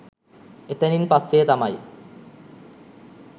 එතැනින් පස්‌සේ තමයි